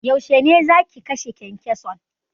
Yaushe zaki kashe kyankyason?